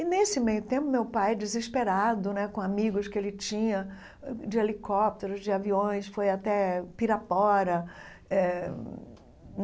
E, nesse meio tempo, meu pai, desesperado né, com amigos que ele tinha, de helicópteros, de aviões, foi até Pirapora eh.